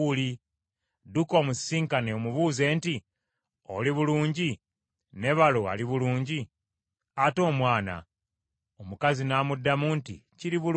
Dduka omusisinkane omubuuze nti, ‘Oli bulungi ne balo ali bulungi? Ate omwana?’ ” Omukazi n’amuddamu nti, “Kiri bulungi.”